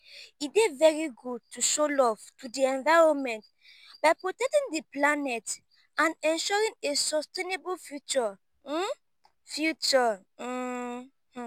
e dey very good to show love to di environment by protectng di planet and ensuring a sustainable future um future um